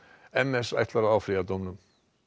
m s ætlar að áfrýja dómnum